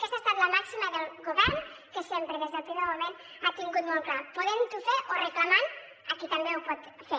aquesta ha estat la màxima del govern que sempre des del primer moment ho ha tingut molt clar podent ho fer o reclamant a qui també ho pot fer